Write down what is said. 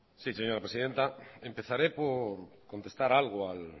sí señora presidenta empezaré por contestar algo al